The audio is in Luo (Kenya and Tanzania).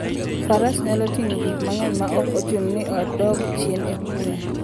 Faras nyalo ting'o gik mang'eny maok ochuno ni odog chien e kwoyo.